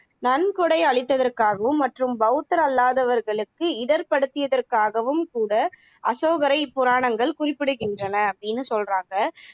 நன்கொடை அளித்ததற்காகவும் மற்றும் பௌத்தர் அல்லாதவர்களுக்கு இடர்ப்படுத்தியதற்காகவும் கூட அசோகரை இப்புராணங்கள் குறிப்பிடுகின்றன அப்படின்னு சொல்றாங்க